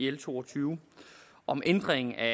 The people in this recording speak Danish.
og to og tyve om ændring af